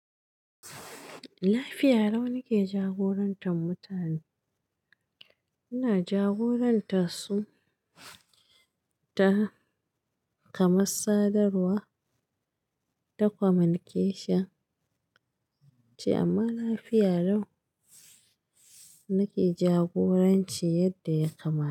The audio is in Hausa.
Lafiya lau nake jagorantar mutane. Ina jagorantar su ta, kamar sadarwa, ta communication ce amma lafiya lau nake jagoranci yadda ya kamata.